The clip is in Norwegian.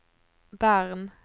Bern